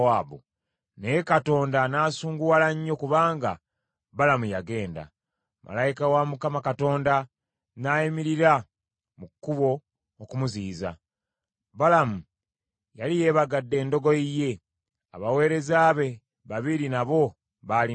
Naye Katonda n’asunguwala nnyo kubanga Balamu yagenda, malayika wa Mukama Katonda n’ayimirira mu kkubo okumuziyiza. Balamu yali yeebagadde endogoyi ye, abaweereza be babiri nabo baali naye.